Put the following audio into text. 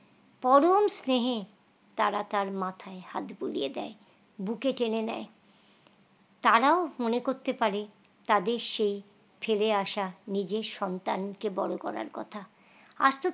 পরম স্নেহে তারা তার মাথায় হাত বুলিয়ে দেয় বুকে টেনে নেই তারাও মনে করতে পারে তাদের সেই ফিরে আশা নিজের সন্তান কে বড় করার কথা